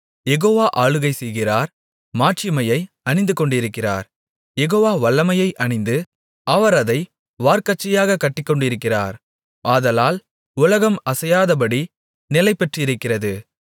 யெகோவா ஆளுகை செய்கிறார் மாட்சிமையை அணிந்துகொண்டிருக்கிறார் யெகோவா வல்லமையை அணிந்து அவர் அதை வார்க்கச்சையாகக் கட்டிக்கொண்டிருக்கிறார் ஆதலால் உலகம் அசையாதபடி நிலைபெற்றிருக்கிறது